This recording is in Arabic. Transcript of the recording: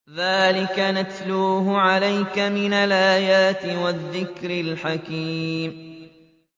ذَٰلِكَ نَتْلُوهُ عَلَيْكَ مِنَ الْآيَاتِ وَالذِّكْرِ الْحَكِيمِ